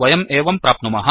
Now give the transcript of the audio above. वयं एवं प्राप्नुमः